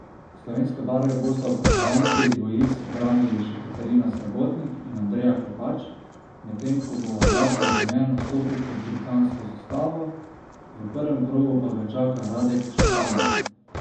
Slovenske barve bosta v konkurenci dvojic branili še Katarina Srebotnik in Andreja Klepač, medtem ko bo Aljaž Bedene nastopil pod britansko zastavo, v prvem krogu pa ga čaka Radek Štepanek.